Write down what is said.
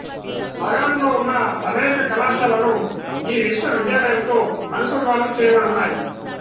నగరంలో ఉన్న అనేక కళాశాలలు ఈ విశ్వవిద్యాలయముతో అనుసంధానము చేయబడి ఉన్నాయి